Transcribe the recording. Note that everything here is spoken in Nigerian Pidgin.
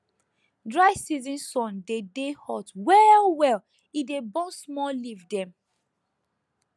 dry season sun dey dey hot well well e dey burn small leaf dem